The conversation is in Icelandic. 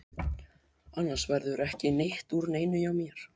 Annars verður ekki neitt úr neinu hjá mér.